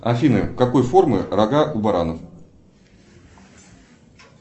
афина какой формы рога у баранов